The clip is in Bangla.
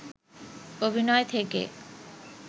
অভিনয় থেকে